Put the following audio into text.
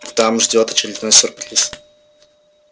там ждёт очередной сюрприз